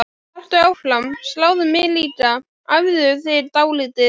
Haltu áfram, sláðu mig líka, æfðu þig dálítið.